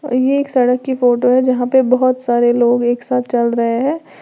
ये एक सड़क की फोटो है जहां पे बहोत सारे लोग एक साथ चल रहे हैं।